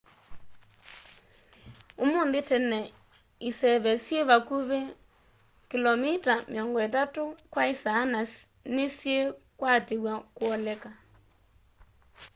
ũmũnthĩ tene iseve syĩĩ vakũvĩ 83km/h na nĩsyĩĩkwatĩw'a kũoleka